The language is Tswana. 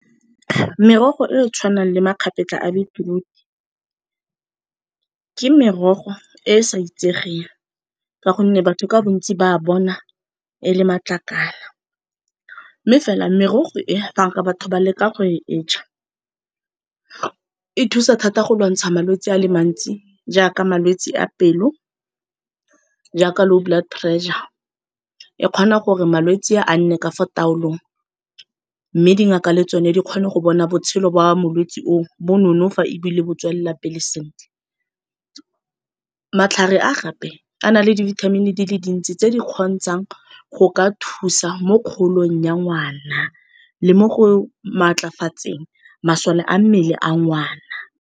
Merogo e e tshwanang le magapetla a beetroot-e, ke merogo e e sa itsegeng ka gonne batho ka bontsi ba bona e le matlakala. Mme fela merogo e ka gore batho ba leka go e e ja, e thusa thata go lwantsha malwetse a le mantsi jaaka malwetse a pelo, jaaka low blood pressure, e kgona gore malwetse a nne ka fo taolong mme dingaka le tsone di kgone go bona botshelo ba molwetse o bo nonofa ebile bo tswelela pele sentle. Matlhare a gape a na le dibithamini di le dintsi tse di kgontshang go ka thusa mo kgolong ya ngwana le mo go maatlafatseng masole a mmele a ngwana.